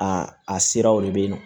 A a siraw de bɛ yen nɔ